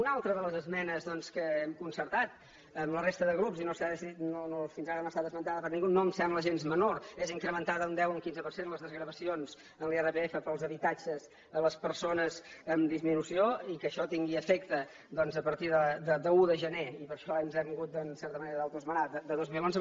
una altra de les esmenes que hem concertat amb la resta de grups i fins ara no ha estat esmentada per ningú i que no em sembla gens menor és incrementar d’un deu a un quinze per cent les desgravacions en l’irpf per als habitatges a les persones amb disminució i que això tingui efecte doncs a partir de l’un de gener i per això ens hem hagut en certa manera d’autoesmenar de dos mil onze